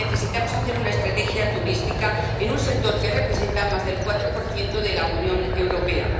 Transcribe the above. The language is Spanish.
necesitamos hacer una estrategia turística en un sector que representa más del 4 del PIB de la Unión Europea.